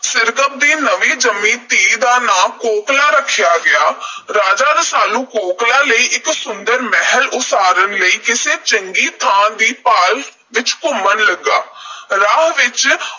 ਸਿਰਕੱਪ ਦੀ ਨਵੀਂ ਜੰਮੀ ਧੀ ਦਾ ਨਾਂ ਕੋਕਲਾਂ ਰੱਖਿਆ ਗਿਆ। ਰਾਜਾ ਰਸਾਲੂ ਕੋਕਲਾਂ ਲਈ ਇਕ ਸੁੰਦਰ ਮਹਿਲ ਉਸਾਰਨ ਲਈ ਕਿਸੇ ਚੰਗੀ ਥਾਂ ਦੀ ਭਾਲ ਵਿੱਚ ਘੁੰਮਣ ਲੱਗਾ। ਰਾਹ ਵਿੱਚ